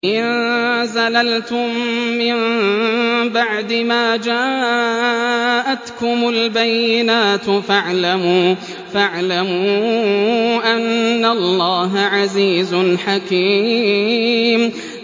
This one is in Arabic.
فَإِن زَلَلْتُم مِّن بَعْدِ مَا جَاءَتْكُمُ الْبَيِّنَاتُ فَاعْلَمُوا أَنَّ اللَّهَ عَزِيزٌ حَكِيمٌ